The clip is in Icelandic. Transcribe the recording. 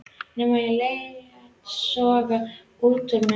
Nema ég léti soga út úr mér.